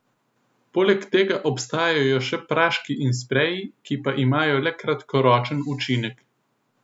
Poleg tega obstajajo še praški in spreji, ki pa imajo le kratkoročen učinek.